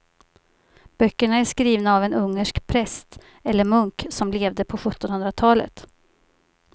Böckerna är skrivna av en ungersk präst eller munk som levde på sjuttonhundratalet.